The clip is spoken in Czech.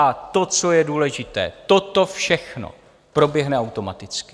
A to, co je důležité: toto všechno proběhne automaticky.